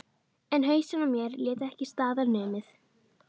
En hausinn á mér lét ekki staðar numið.